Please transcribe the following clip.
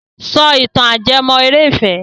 Sọ ìtàn ajẹ́mọ́- eré ìfẹ́!